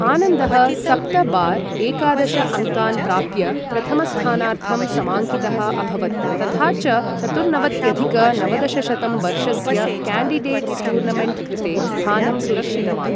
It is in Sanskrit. आनन्दः सप्त बार् एकादश अङ्कान् प्राप्य प्रथमस्थानार्थं समाङ्कितः अभवत् तथा च चतुर्नवत्यधिक नवदशशतं वर्षस्य क्याण्डिडेट्स् टूर्नमेण्ट् कृते स्थानं सुरक्षितवान्।